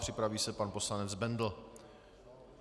Připraví se pan poslanec Bendl.